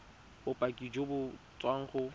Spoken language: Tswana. bopaki jo bo tswang go